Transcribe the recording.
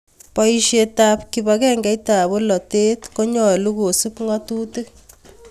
Poisyet ap kipakengeit ap polotet konyalu kosup ng'atutik